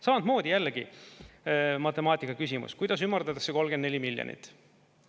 Samamoodi jällegi matemaatikaküsimus, kuidas ümardatakse 34 miljonit.